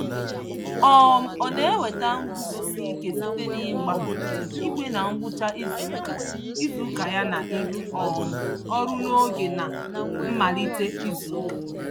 um Ọ na-enweta nguzosi ike site n'ịgba igwe na ngwụcha izuụka izuụka ya na ịrụ um ọrụ n'oge na mmalite izuụka.